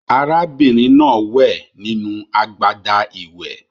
Àrà bìnrin náà wẹ̀ nínú agbada ìwẹ̀